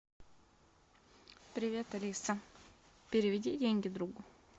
привет алиса переведи деньги другу